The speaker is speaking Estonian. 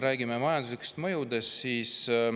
Räägime majanduslikest mõjudest.